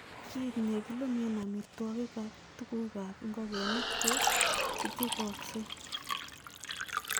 Kit nekilumen amitwogik ak tuguk ab ingogenik ko chuchukoksei.